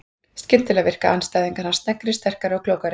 Skyndilega virka andstæðingar hans sneggri, sterkari og klókari.